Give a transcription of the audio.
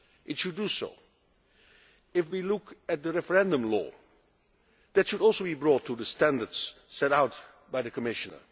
It should do so. If we look at the referendum law, that should also be brought up to the standards set out by the Commission.